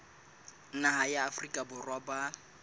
naha ya afrika borwa ba